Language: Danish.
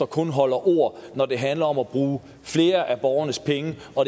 kun holder ord når det handler om at bruge flere af borgernes penge